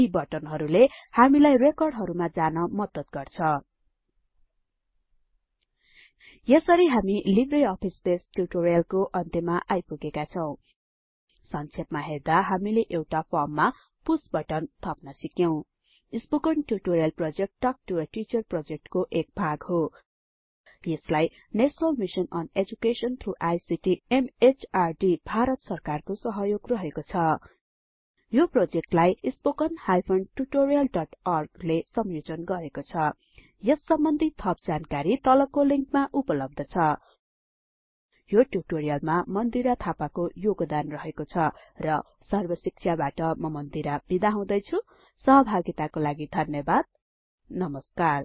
यी बटनहरुले हामीलाई रेकर्डहरुमा जान मद्दत गर्छ यसरी हामी लिब्रे अफिस बेस ट्युटोरियलको अन्त्यमा आइपुगेका छौं संक्षेपमा हेर्दा हामीले एउटा फर्ममा पुष बटन थप्न सिक्यौं spoken tutorial project talk to a teacher प्रोजेक्टको एक भाग हो यसलाई national mission on education through ICT MHRD Bharat सरकारको सहयोग रहेको छ यो प्रोजेक्टलाई httpspoken tutorialorg ले संयोजन गरेको छ यस सम्बन्धि थप जानकारी तलको लिंकमा उपलब्ध छ यो ट्युटोरियलमा मन्दिरा थापाको योगदान रहेको छ र सर्बशिक्षाबाट म मन्दिरा बिदा हुदैछुँ सहभागिताको लागि धन्यबाद नमस्कार